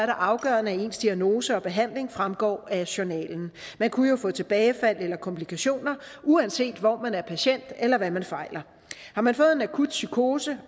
afgørende at ens diagnose og behandling fremgår af journalen man kunne jo få tilbagefald eller komplikationer uanset hvor man er patient eller hvad man fejler har man fået en akut psykose